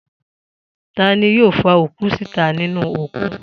Ta ni yóò fa òkú síta nínú òkun?